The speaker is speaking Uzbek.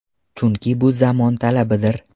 Chunki bu zamon talabidir.